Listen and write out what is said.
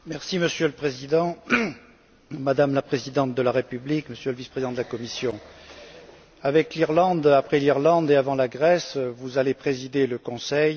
Monsieur le Président, Madame la Présidente de la République, Monsieur le Vice président de la Commission, avec l'Irlande, après l'Irlande et avant la Grèce, vous allez présider le Conseil.